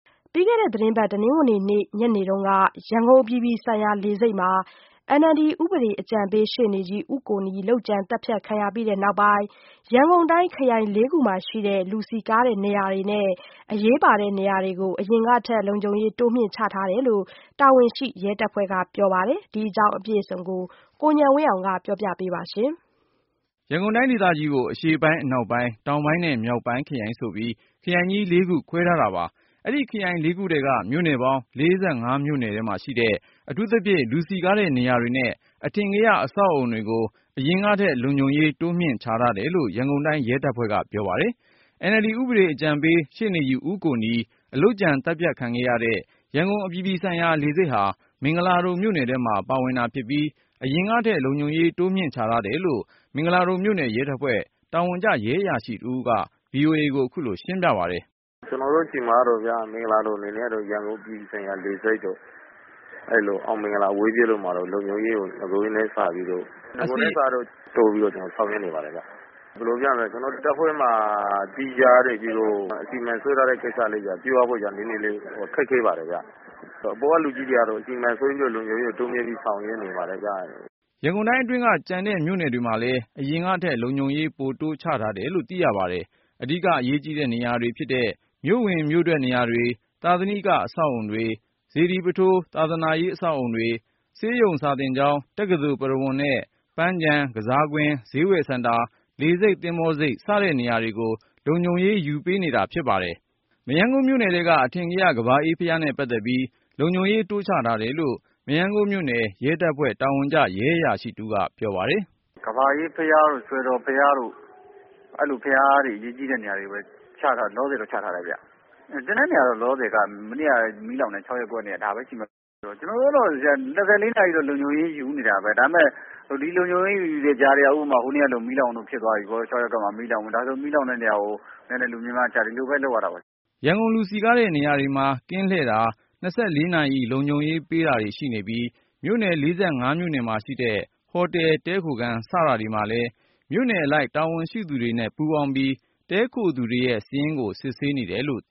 ပြီးခဲ့တဲ့ တနင်္ဂနွေနေ့ ညနေက ရန်ကုန်အပြည်ပြည်ဆိုင်ရာလေဆိပ်မှာ NLD ဥပဒေအကြံပေး ရှေ့နေကြီး- ဦးကိုနီ လုပ်ကြံသတ်ဖြတ်ခံရပြီး နောက်ပိုင်း ရန်ကုန်တိုင်း ခရိုင် ၄ခုမှာရှိတဲ့ လူစည်ကားတဲ့နေရာတွေနဲ့ အရေးပါတဲ့နေရာတွေကို အရင်ထက် လုံခြုံရေးတိုးမြှင့်ချထားကြောင်း တာဝန်ရှိရဲတပ်ဖွဲ့က ပြောပါတယ်။ ဒီအကြောင်းကိုတော့ ကိုဉာဏ်ဝင်းအောင်က ပြောပြမှာပါ။ ရန်ကုန်တိုင်းဒေသကြီးကို အရှေ့ပိုင်း၊ အနောက်ပိုင်း၊ တောင်ပိုင်းနဲ့ မြောက်ပိုင်းခရိုင်ဆိုပြီး ခရိုင်ကြီး ၄ ခုခွဲထားတာပါ။ အဲဒီခရိုင် ၄ ခုထဲက မြို့နယ်ပေါင်း ၄၅ မြို့နယ်မှာရှိတဲ့ အထူးသဖြင့် လူစည်ကားတဲ့နေရာတွေနဲ့ အထင်ကရ အဆောက်အဦတွေကို အရင်ကထက် လုံခြုံရေးတိုးမြှင့် ချထားတယ်လို့ ရန်ကုန်တိုင်းရဲတပ်ဖွဲ့ထံကပြောပါတယ်။ NLD ဥပဒေအကြံပေး ရှေ့နေကြီး ဦးကိုနီ လုပ်ကြံသတ်ဖြတ်ခံခဲ့ရတဲ့ ရန်ကုန်အပြည်ပြည်ဆိုင်ရာ လေဆိပ်ဟာ မင်္ဂလာဒုံမြို့နယ်ထဲမှာ ပါဝင် တာ ဖြစ်ပြီး အရင်ကထက် လုံခြုံရေးတိုးမြှင့်ချထားတယ်လို့ မင်္ဂလာဒုံမြို့နယ်ရဲတပ်ဖွဲ့ တာဝန်ကျ ရဲအရာရှိတဦးကို VOA ကိုခုလိုရှင်းပြပါတယ်။ “ကျနော်တို့ဆီမှာတော့ မင်္ဂလာဒုံအနေနဲ့ကတော့ ရန်ကုန်အပြည်ပြည်ဆိုင်ရာ လေဆိပ်တို့၊ အောင်မင်္ဂလာအဝေးပြေးတို့မှာတော့ လုံခြုံရေးကို နဂိုထက်စာရင် တိုးပြီးတော့ ဆောင်ရွက်နေပါတယ်ခင်ဗျ။ ဘယ်လိုပြောရမလဲ ကျနော်တို့တပ်ဖွဲ့မှာ သီးခြားအစီအမံ ပြုဖို့ နည်းနည်းလေး ခက်ခဲပါတယ်ခင်ဗျ။ အပေါ်ကလူကြီးတွေကတော့ အစီအမံဆွဲပြီး တိုးမြင့်ပြီးဆောင်ရွက်နေပါတယ်ခင်ဗျ။” ရန်ကုန်တိုင်းအတွင်းက ကျန်တဲ့မြို့နယ်တွေမှာလည်း အရင်ကထက် လုံခြုံရေးပိုတိုး ချထားတယ်လို့ သိရပါတယ်။ အဓိက အရေးကြီးတဲ့ နေရာတွေဖြစ်တဲ့ မြို့ဝင်မြို့အထွက်နေရာတွေ၊ သာသနိက အဆောက်အဦးတွေ၊ စေတီပုထိုး ဘာသာရေး အဆောက် အဦတွေ၊ ဆေးရုံ စာသင်ကျောင်း၊ တက္ကသိုလ် ပုရဝုဏ်နဲ့ ပန်းခြံ ကစားကွင်း၊ ဈေးဝယ်စင်တာ၊ လေဆိပ်၊ သင်္ဘောဆိပ် စတဲ့နေရာတွေကို လုံခြုံရေးယူပေး နေတာဖြစ်ပါတယ်။ မရမ်းကုန်းမြို့နယ်ထဲက အထင်ကရ ကမ္ဘာအေးဘုရားနဲ့ပတ်သက်ပြီး လုံခြုံရေးတိုးချထားတယ်လို့ မရမ်းကုန်းမြို့နယ် ရဲတပ်ဖွဲ့ တာဝန်ကျ ရဲအရာရှိတဦးကို ပြောပါတယ်။ “ကမ္ဘာအေးဘုရားတို့ စွယ်တော်ဘုရားတို့ အဲဒီလို အရေးကြီးတဲ့ ဘုရားနေရာတွေကိုပဲ လောလောဆယ်ချထားတယ်၊ ကျန်တဲ့နေရာကတော့ လောလောဆယ်က မနေ့က မီးလောင်တဲ့ ၆ ရပ်ကွက်နဲ့ ဒါပဲရှိမယ်။ ကျွန်တို့ကတော့ ၂၄ နာရီ တော့ လုံခြုံရေးယူနေတာပဲ ဒါပေမယ့် ဒီ လုံခြုံရေးယူတဲ့ကြားထဲက ဥပမာ ဟိုနေ့ကလို ၆ ရပ်ကွက်မှာ မီးလောင်မှုဖြစ်သွားတာတို့ အဲလိုမီးလောင်တဲ့နေရာမှာ လူများများချ ဒီလိုပဲ လုပ်ရတာပဲ။” ရန်ကုန် လူစည်ကားတဲ့နေရာတွေမှာ ကင်းလှည်တာ ၂၄နာရီ လုံခြုံရေးပေးတာတွေ ရှိနေပြီး၊ မြို့နယ် ၄၅ မြို့နယ်မှာရှိတဲ့ ဟိုတယ် တည်းခိုခန်း စတာတွေမှာလည်း မြို့နယ်အလိုက် တာဝန်ရှိသူတွေပူးပေါင်းပြီး တည်းခိုသူတွေရဲ့ စာရင်းစစ်ဆေးနေပါတယ် ။